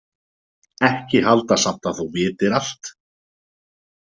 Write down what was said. Ekki halda samt að þú vitir allt.